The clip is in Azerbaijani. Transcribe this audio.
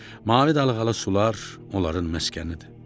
Mavi dalğalı sular onların məskənidir.